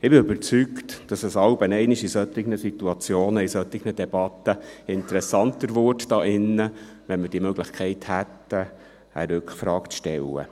» Ich bin überzeugt, dass solche Situationen und solche Debatten ab und an interessanter würden, wenn wir die Möglichkeit hätten, eine Rückfrage zu stellen.